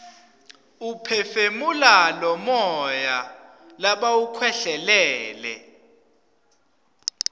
uphefumula lomuya labawukhwehlelele